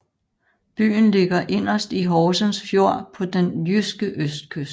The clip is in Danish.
Byen ligger inderst i Horsens Fjord på den jyske østkyst